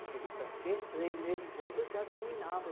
Porque francês, três meses depois, eu já dominava.